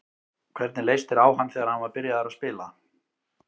Hvernig leist þér á hann þegar hann var byrjaður að spila?